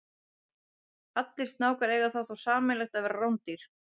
Allir snákar eiga það þó sameiginlegt að vera rándýr.